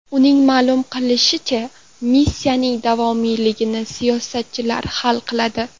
Uning ma’lum qilishicha, missiyaning davomiyligini siyosatchilar hal qiladi.